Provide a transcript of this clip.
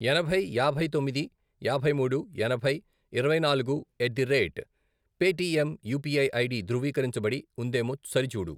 ఎనభై, యాభై తొమ్మిది, యాభై మూడు, ఎనభై, ఇరవై నాలుగు, at the rate Paytm UPI ID ధృవీకరించబడి ఉందేమో సరిచూడు.